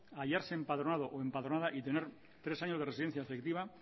hallarse empadronado o empadronada y tener tres años de residencia efectiva